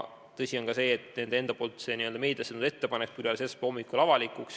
Tõsi on ka see, et nende enda ettepanek, see n-ö meediasse tulnud ettepanek, sai avalikuks alles esmaspäeva hommikul.